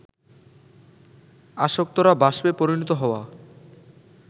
আসক্তরা বাষ্পে পরিণত হওয়া